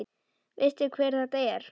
Veistu hver þetta er?